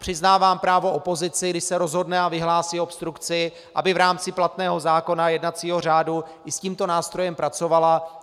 Přiznávám právo opozici, když se rozhodne a vyhlásí obstrukci, aby v rámci platného zákona, jednacího řádu, i s tímto nástrojem pracovala.